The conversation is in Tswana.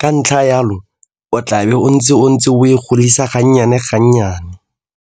ka ntlha jalo o tlabe o ntse o ntse o e godisa ga nnyane ga nnyane?